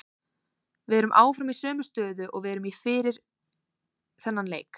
Við erum áfram í sömu stöðu og við vorum í fyrir þennan leik.